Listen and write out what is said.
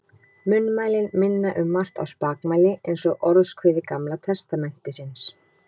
Munnmælin minna um margt á spakmæli eins og Orðskviði Gamla testamentisins.